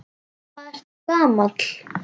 Hvað ertu gamall?